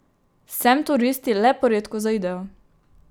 Sem turisti le poredko zaidejo.